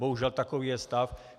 Bohužel, takový je stav.